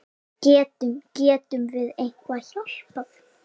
Getum, getum við eitthvað hjálpað?